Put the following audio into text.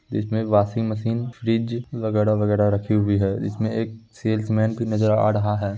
इसमें washing machine fridge वैगरा-वैगरा रखी हुई है जिसमें एक सेल्समेन भी नजर आ रहा है।